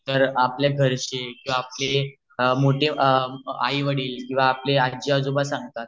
तर आपल्या घरचे किवा आपले लोक मोठे आई वडील किव्हा आपले आजी आजोबा सांगतात